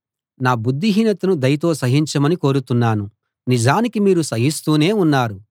నా బుద్దిహీనతను దయతో సహించమని కోరుతున్నాను నిజానికి మీరు సహిస్తూనే ఉన్నారు